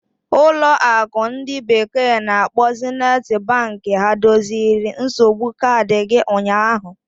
ụlọ akụ ndi bekee na-akpo Zeniti Banki ha doziri nsogbu kaadị gị ụnyaahụ?